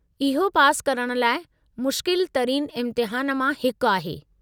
इहो पासि करणु लाइ मुश्किल तरीन इम्तिहान मां हिकु आहे।